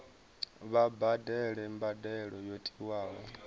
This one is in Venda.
vha badele mbadelo yo tiwaho